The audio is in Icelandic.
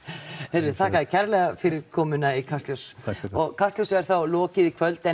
einmitt þakka þér kærlega fyrir komuna í Kastljós kastljósi er þá lokið í kvöld